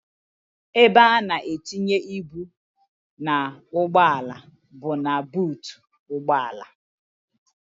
Ebe a na-etinye ibu n'ugbọala bụ na buutu ụgbọala.